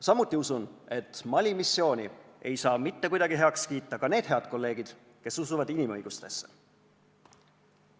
Samuti usun, et Mali missiooni ei saa mitte kuidagi heaks kiita ka need head kolleegid, kes usuvad inimõigustesse.